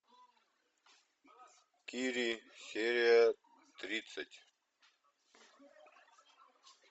кири серия тридцать